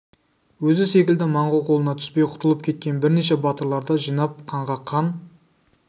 өзі секілді монғол қолына түспей құтылып кеткен бірнеше батырларды жинап қанға қан